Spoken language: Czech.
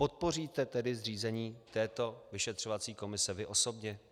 Podpoříte tedy zřízení této vyšetřovací komise vy osobně?